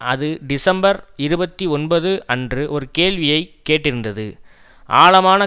அது டிசம்பர் இருபத்தி ஒன்பது அன்று ஒரு கேள்வியை கேட்டிருந்தது ஆழமான